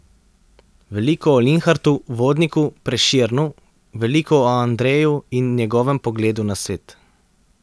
Veliko o Linhartu, Vodniku, Prešernu, veliko o Andreju in njegovem pogledu na svet.